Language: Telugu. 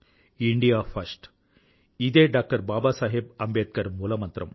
ఇండియా ఫస్ట్ ఇదే డాక్టర్ బాబాసాహెబ్ అంబేద్కర్ మూల మంత్రం